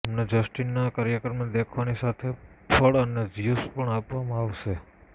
તેમને જસ્ટિનનાં કાર્યક્રમને દેખવાની સાથે જ ફળ અને ઝ્યૂસ પણ આપવામાં આવશે